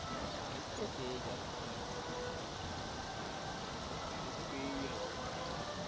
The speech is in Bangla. হ্যাঁ গাড়ি তো পায়ে যাবো হ্যাঁ গাড়ি তো পেয়ে যাবো আর।